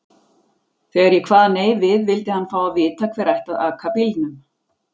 Þegar ég kvað nei við vildi hann fá að vita hver ætti að aka bílnum.